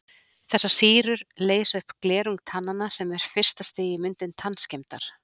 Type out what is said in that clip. Þessar sýrur leysa upp glerung tannanna sem er fyrsta stigið í myndun tannskemmdar.